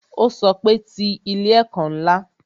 Ó sọ pé "Ti ilé ẹ̀kọ́ ńlá"